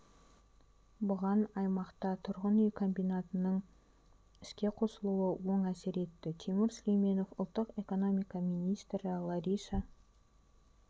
бұған аймақта тұрғын үй комбинатының іске қосылуы оң әсер етті тимур сүлейменов ұлттық экономика министрі лариса